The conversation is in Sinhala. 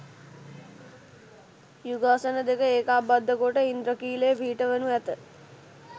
යුගාසන දෙක ඒකාබද්ධ කොට ඉන්ද්‍රඛිලය පිහිටවනු ඇත.